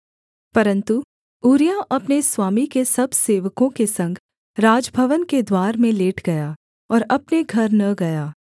परन्तु ऊरिय्याह अपने स्वामी के सब सेवकों के संग राजभवन के द्वार में लेट गया और अपने घर न गया